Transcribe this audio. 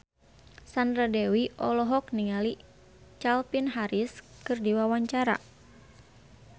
Sandra Dewi olohok ningali Calvin Harris keur diwawancara